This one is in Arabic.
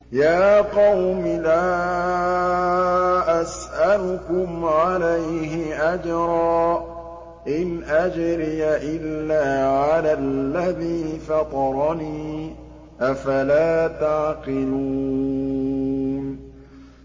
يَا قَوْمِ لَا أَسْأَلُكُمْ عَلَيْهِ أَجْرًا ۖ إِنْ أَجْرِيَ إِلَّا عَلَى الَّذِي فَطَرَنِي ۚ أَفَلَا تَعْقِلُونَ